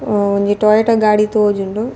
ಅಹ್ ಒಂಜಿ ಟೊಯೋಟ ಗಾಡಿ ತೋಜುಂಡು.